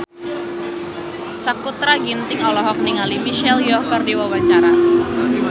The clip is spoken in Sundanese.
Sakutra Ginting olohok ningali Michelle Yeoh keur diwawancara